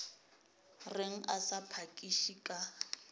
reng a sa phakiše ka